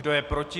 Kdo je proti?